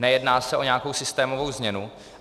Nejedná se o nějakou systémovou změnu.